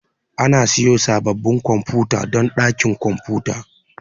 Ana siyo sabbabin kwamfuta don dakin kwamfuta.